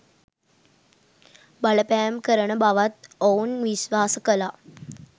බලපෑම් කරන බවත් ඔවුන් විශ්වාස කළා.